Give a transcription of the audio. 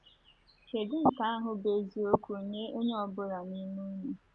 Kedụ nke ahụ bụ eziokwu nye onye ọ bụla n’ime unu.